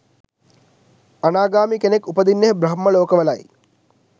අනාගාමී කෙනෙක් උපදින්නේ බ්‍රහ්ම ලෝකවලයි.